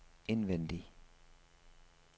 indvendig